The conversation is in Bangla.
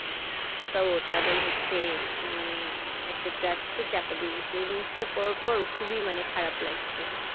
তো তাদের হচ্ছে উহ মানে একটা taxi চাপা দিয়েগেছে এই News তা পড়ার পর খুবই মানে খারাপ লাগছে